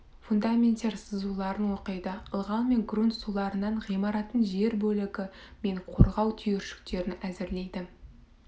фундаменттер сызуларын оқиды ылғал мен грунт суларынан ғимараттың жер бөлігі мен қорғау түйіршіктерін әзірлейді